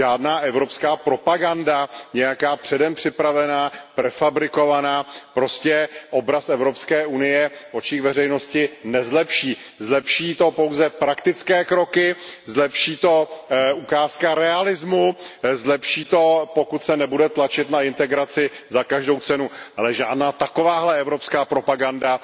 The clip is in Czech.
Žádná evropská propaganda, nějaká předem připravená, prefabrikovaná, prostě obraz EU v očích veřejnosti nezlepší. Zlepší to pouze praktické kroky, zlepší to ukázka realizmu, zlepší to, pokud se nebude tlačit na integraci za každou cenu, ale žádná taková evropská propaganda